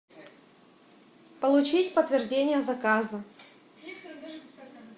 получить подтверждение заказа